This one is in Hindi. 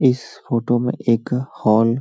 इस फोटो में एक हॅान --